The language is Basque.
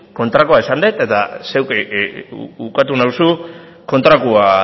kontrakoa esan dut eta zeuk ukatu nauzu kontrakoa